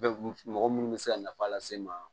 Mɔgɔ munnu bɛ se ka nafa lase n ma